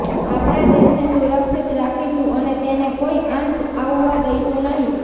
આપણા દેશને સુરક્ષિત રાખીશુ અને તેને કોઈ આંચ આવવા દઈશું નહીં